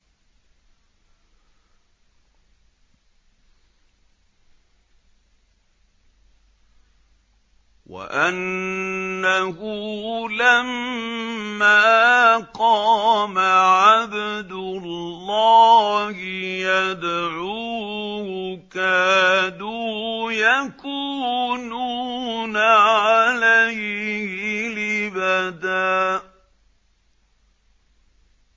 وَأَنَّهُ لَمَّا قَامَ عَبْدُ اللَّهِ يَدْعُوهُ كَادُوا يَكُونُونَ عَلَيْهِ لِبَدًا